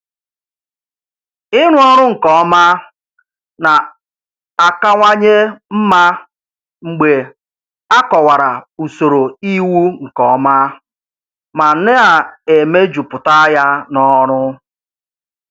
Ịrụ ọrụ nke ọma na-akawanye mma mgbe a kọwara usoro iwu nke ọma ma na-emejuputa ya n'ọrụ.